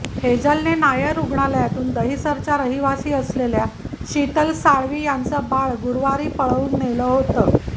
हेजलने नायर रुग्णालयातून दहिसरच्या रहिवासी असलेल्या शीतल साळवी यांचं बाळ गुरुवारी पळवून नेलं होतं